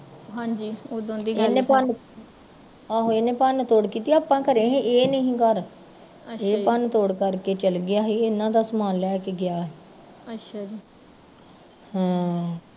ਆਹੋ ਇਨੇ ਭੰਨ ਤੋੜ ਕੀਤੀ ਆਪਾਂ ਘਰੇ ਸੀ ਇਹ ਨੀ ਸੀ ਘਰ ਏਹ ਭੰਨ ਤੋੜ ਕਰਕੇ ਚੱਲ ਗਿਆ ਸੀ ਇਹਨਾਂ ਦਾ ਸਮਾਨ ਲੈ ਕੇ ਗਿਆ ਸੀ ਹਾਂ